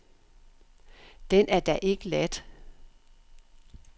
Den er da ikke ladt.